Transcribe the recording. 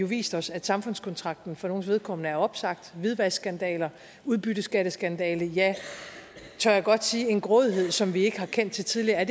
vist os at samfundskontrakten for nogles vedkommende er opsagt hvidvaskskandaler og udbytteskatskandaler jeg tør godt sige er en grådighed som vi ikke har kendt til tidligere og